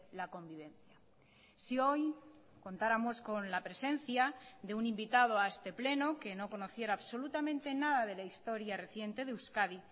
la convivencia si hoy contáramos con la presencia de un invitado a este pleno que no conociera absolutamente nada de la historia reciente de euskadi